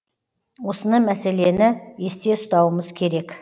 осыны мәселені есте ұстауымыз керек